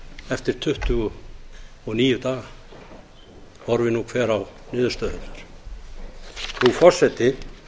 eftir tuttugu og níu daga horfi nú hver á niðurstöðurnar frú forseti